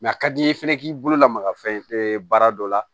a ka di i ye fɛnɛ k'i bolo lamaga fɛn baara dɔ la